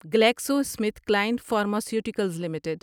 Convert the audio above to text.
Glaxo Smith Klein pharmaceuticals limited